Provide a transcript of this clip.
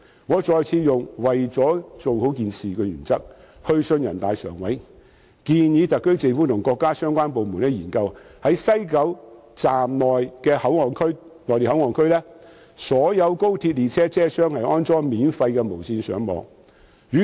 我再次秉持"為了把事情做好"的原則，去信人大常委會，建議特區政府和國家相關部門在西九龍站的內地口岸區及所有高鐵列車車廂內安裝免費無線上網設施。